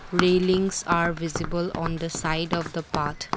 Railings are visible on the side of the path.